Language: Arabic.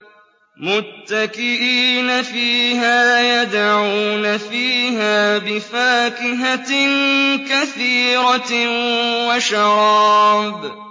مُتَّكِئِينَ فِيهَا يَدْعُونَ فِيهَا بِفَاكِهَةٍ كَثِيرَةٍ وَشَرَابٍ